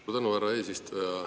Suur tänu, härra eesistuja!